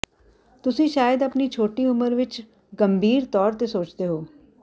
ਤੁਸੀਂ ਸ਼ਾਇਦ ਆਪਣੀ ਛੋਟੀ ਉਮਰ ਵਿਚ ਗੰਭੀਰ ਤੌਰ ਤੇ ਸੋਚਦੇ ਹੋ